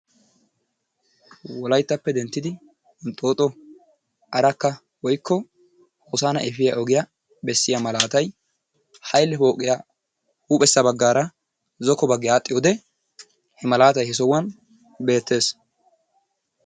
Wolayttappe denttidi hinxixxo, arakka woyikko hosana efiya ogiya bessiya malaatay haile pooqiya huuphessa baggaara zokko baggi aadhdhiyode he malaatay he sohuwan beettes.